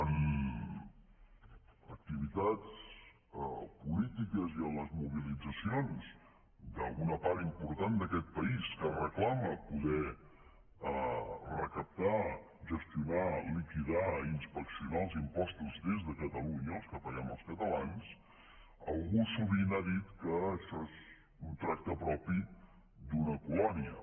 en activitats polítiques i en les mobilitzacions d’una part important d’aquest país que reclama poder recaptar gestionar liquidar i inspeccionar els impostos des de catalunya els que paguem els catalans algú sovint ha dit que això és un tracte propi d’una colònia